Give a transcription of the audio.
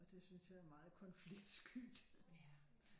Og det synes jeg er meget konfliktskyt